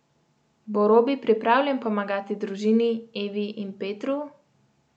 Bo Robi pripravljen pomagati družini, Evi in Petru?